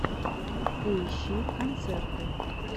поищи концерты